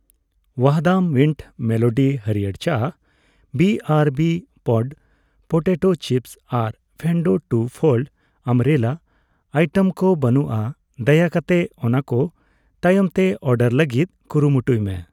ᱣᱟᱦᱫᱟᱢ mint melody ᱦᱟᱲᱭᱟᱹᱨ ᱪᱟ, ᱵᱤᱟᱨᱵᱤ ᱯᱚᱯᱰ ᱯᱚᱴᱮᱴᱳ ᱪᱤᱯᱥ ᱟᱨ Fendo two fold umbrella item ᱠᱚ ᱵᱟᱹᱱᱩᱜᱼᱟ, ᱫᱟᱭᱟ ᱠᱟᱛᱮ ᱚᱱᱟᱠᱚ ᱛᱟᱭᱚᱢᱛᱮ ᱚᱨᱰᱟᱨ ᱞᱟᱹᱜᱤᱛ ᱠᱩᱨᱩᱢᱩᱴᱩᱭ ᱢᱮ ᱾